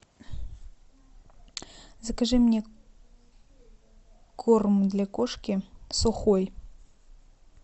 закажи мне корм для кошки сухой